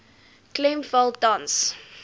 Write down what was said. klem val tans